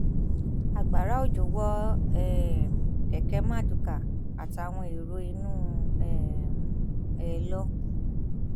agbára òjò wọ um kẹkẹ marduká àtàwọn èrò inú um ẹ lọ